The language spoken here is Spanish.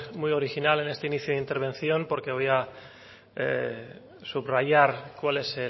muy original en este inicio de intervención porque voy a subrayar cuál es